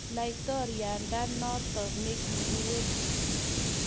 Laitoriandanotok ne kikiweech.